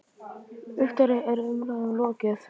Viktoría, er umræðum lokið?